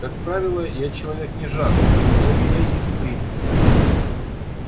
как правило я человек не жадный но у меня есть принцип